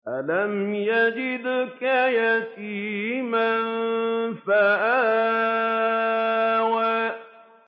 أَلَمْ يَجِدْكَ يَتِيمًا فَآوَىٰ